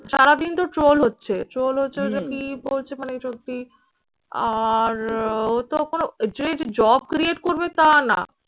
সারাদিন তো troll হচ্ছে troll হচ্ছে ঐযে কি বলছে মানে সত্যি আর ও তো কোনো job create করবে তা না